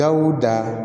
Dawuda